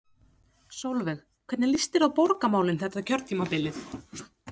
Sólveig: Hvernig líst þér á borgarmálin þetta kjörtímabilið?